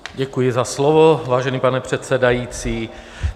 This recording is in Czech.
Děkuji za slovo, vážený pane předsedající.